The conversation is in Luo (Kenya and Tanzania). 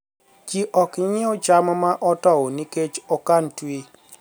ij ok nyiew cham ma otow nikech okan twi